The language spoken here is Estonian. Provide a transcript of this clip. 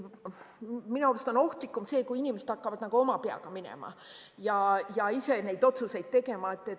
Minu arust on ohtlikum see, kui inimesed hakkavad oma peaga minema ja ise neid otsuseid tegema.